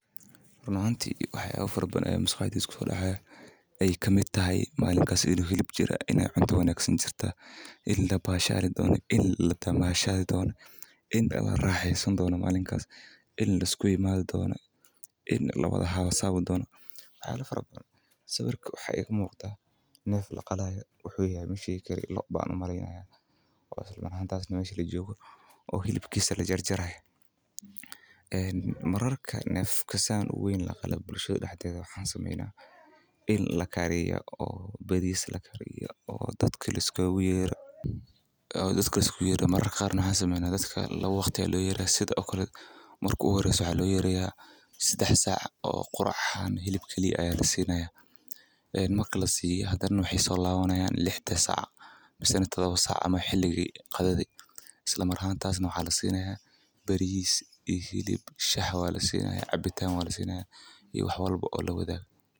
Run ahaantii ay wax yaabo farban ay musqayadii isku soo dhacaya ay ka mid tahay maalin kaas inuu hilib jira in ay cuntoon u wanagsan jirta, in la baa shaali doona, in la damashado doona, in agab raaxiisan doono maalin kaas, in iskuyi maada doona, in lagalawada habo-saabu doona. Waxyaabo farban. Sawirkan waxa ay muuqata, neef la qalaayo wuxuu yahay masiikarii loo baahan maraynaya oo isla markhaanta aad u sameysan la joogu oo hilibkiisa la jarjaray. Eeen mararka neef ka saan u weyn la qalo bulshada Haddii aad uga samaynaano in la kariya oo badiyada la kariya oo dadka la iska weera... Dadka si ku yeera mararkaan uga samaynaa dadka la waqtiga loo yeedhay sidaagoo kala murku ugu horreeyay su'a loo yeedhayaa sidix xaq oo qurx ahaan hilib keliya ay la siinayaa. Eeen ma kala siiyaa hadan waxay soo laabanayaan lixta saac mise todoba saac ama xiligii qadadi Isla markhaanta aad u xaalatay siinayaa bariis iyo hilib shax waa la siinayaa, cabitaan waa la siinayaa iyo wax walbo oo loo wadaago.